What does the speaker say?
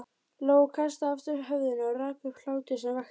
Lóa kastaði aftur höfðinu og rak upp hlátur sem vakti